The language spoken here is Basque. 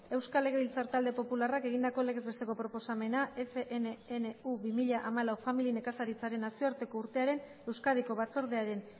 euskal legebiltzar talde popularrak egindako legez besteko proposamena fnnu bi mila hamalau familia nekazaritzaren nazioarteko urtearen euskadiko batzordearen